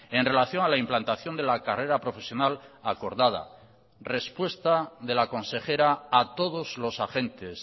en relación a la implantación de la carrera profesional acordada respuesta de la consejera a todos los agentes